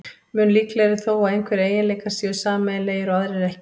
Mun líklegra er þó að einhverjir eiginleikar séu sameiginlegir og aðrir ekki.